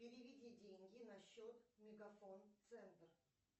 переведи деньги на счет мегафон центр